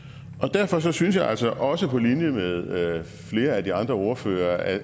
derfor synes jeg altså også på linje med flere af de andre ordførere at